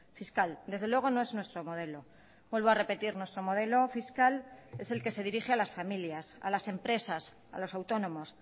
fiscal desde luego no es nuestro modelo vuelvo a repetir nuestro modelo fiscal es el que se dirige a las familias a las empresas a los autónomos